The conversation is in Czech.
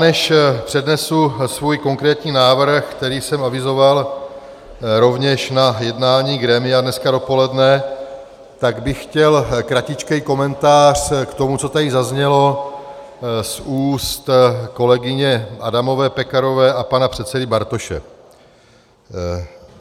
Než přednesu svůj konkrétní návrh, který jsem avizoval rovněž na jednání grémia dneska dopoledne, tak bych chtěl kratičký komentář k tomu, co tady zaznělo z úst kolegyně Adamové Pekarové a pana předsedy Bartoše.